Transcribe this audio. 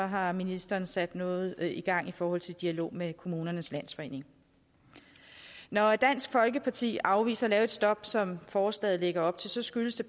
har ministeren sat noget i gang i forhold til en dialog med kommunernes landsforening når dansk folkeparti afviser at lave et stop som forslaget lægger op til skyldes det